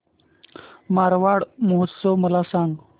मारवाड महोत्सव मला सांग